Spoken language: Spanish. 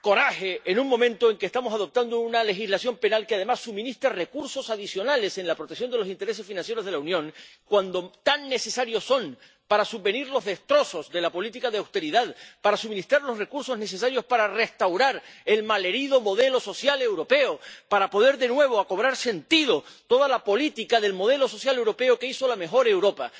coraje, en un momento en el que estamos adoptando una legislación penal que, además, suministra recursos adicionales en la protección de los intereses financieros de la Unión, cuando tan necesarios son para subvenir a los destrozos de la política de austeridad, para suministrar los recursos necesarios para restaurar el malherido modelo social europeo, para que pueda de nuevo cobrar sentido toda la política del modelo social europeo que hizo la mejor Europa.